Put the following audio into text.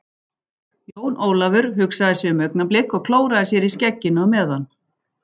Jón Ólafur hugsaði sig um augnablik og klóraði sér í skegginu á meðan.